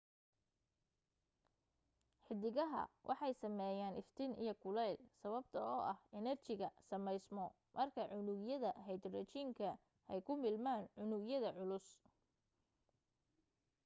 xidigaha waxa sameyaan iftiin iyo kuleel sababtoo ah enerjiga sameysmo marka unugyada hydrogen-ka ay ku milmaan unug yada culus